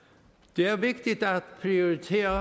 det er vigtigt at prioritere